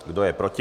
Kdo je proti?